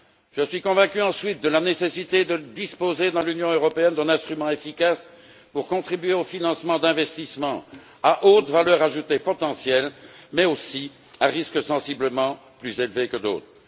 Je suis convaincu, ensuite, de la nécessité de disposer dans l'Union européenne d'un instrument efficace visant à contribuer au financement d'investissements à haute valeur ajoutée potentielle, mais aussi à risque sensiblement plus élevé que d'autres.